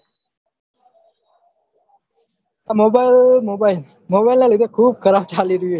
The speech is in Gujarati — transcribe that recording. mobile mobile mobile ના લીધે ખુબ ખરાબ ચાલી રહ્યું હે